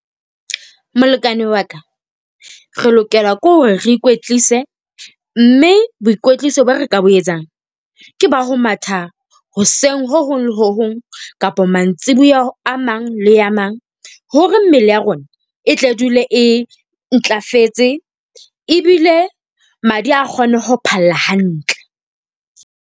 Molekane wa ka, re lokela ke hore re ikwetlise. Mme boikwetliso ba re ka bo etsang ke ba ho matha hoseng ho hong le ho hong kapa mantsiboya a mang le a mang. Hore mmele ya rona e tle dule e ntlafetse ebile madi a kgone ho phalla hantle.